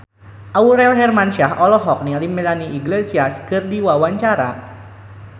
Aurel Hermansyah olohok ningali Melanie Iglesias keur diwawancara